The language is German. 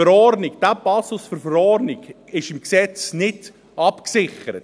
Dieser Passus der Verordnung ist im Gesetz nicht abgesichert.